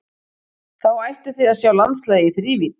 Þá ættuð þið að sjá landslagið í þrívídd.